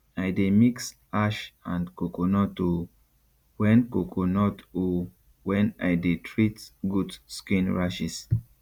i dey mix ash and coconut o wen coconut o wen i dey treat goat skin rashes